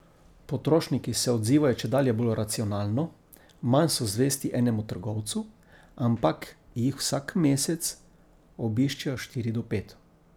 Potrošniki se odzivajo čedalje bolj racionalno, manj so zvesti enemu trgovcu, ampak jih vsak mesec obiščejo štiri do pet.